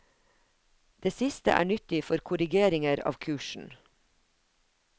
Det siste er nyttig for korrigeringer av kursen.